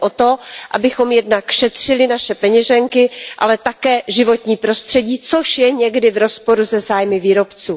Jde o to, abychom jednak šetřili naše peněženky, ale také životní prostředí, což je někdy v rozporu se zájmy výrobců.